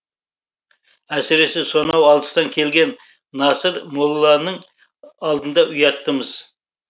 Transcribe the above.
әсіресе сонау алыстан келген насыр молданың алдында ұяттымыз